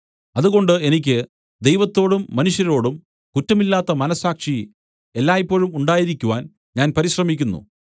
അതുകൊണ്ട് എനിക്ക് ദൈവത്തോടും മനുഷ്യരോടും കുറ്റമില്ലാത്ത മനസ്സാക്ഷി എല്ലായ്പോഴും ഉണ്ടായിരിക്കുവാൻ ഞാൻ പരിശ്രമിക്കുന്നു